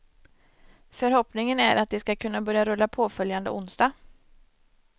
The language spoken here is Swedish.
Förhoppningen är att de ska kunna börja rulla påföljande onsdag.